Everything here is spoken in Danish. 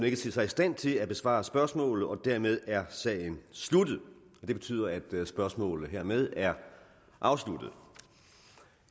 ikke ser sig i stand til at besvare spørgsmålet og dermed er sagen sluttet det betyder at spørgsmålet hermed er afsluttet